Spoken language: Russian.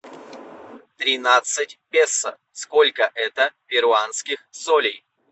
тринадцать песо сколько это перуанских солей